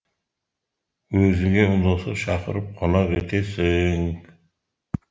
өзіңе ұнаса шақырып қонақ етесің